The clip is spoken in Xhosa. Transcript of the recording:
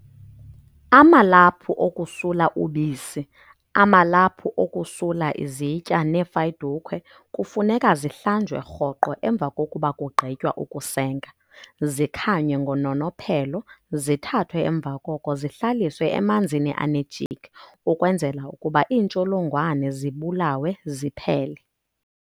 Amalaphu okusula ubisi, amalaphu okusula izitya neefayidukhwe kufuneka zihlanjwe roqo emva kokuba kugqhitywa ukusenga, zikhanywe ngononophelo zithathwe emva koko zihlaliswe emanzini ane jik ukwenzela ukuba iintsholongwane zibulawe ziphele.